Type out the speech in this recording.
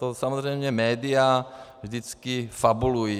To samozřejmě média vždycky fabulují.